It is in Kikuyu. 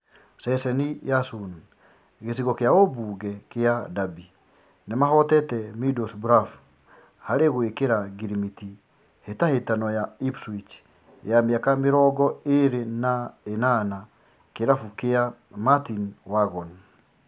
(Ceceni ya Sun) Gĩcigo kĩa ũmbunge kĩa Derby nĩmahotete Middlesbrough harĩ gũĩkĩra ngirimiti hĩtahĩtano ya Ipswich wa mĩaka mĩrongo ĩrĩ ne nana Kĩrabu kĩa Martyn Waghorn